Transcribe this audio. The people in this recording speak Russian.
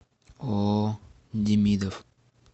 ооо демидов